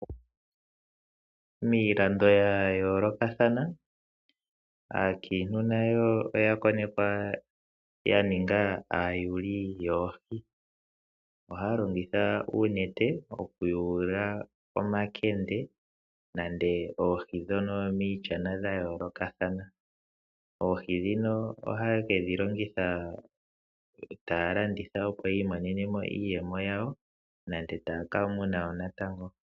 Miilando ya yoolokathana aakiintu nayo oya konekwa ya ninga aayuli yoohi. Ohaya longitha uunete okuyuula omakende nande oohi dha yoolokathana miishana. Oohi ndhino ohaye kedhi longitha taya landitha opo yi imonenemo iiyemo yawo nande taya kamuna woo natango.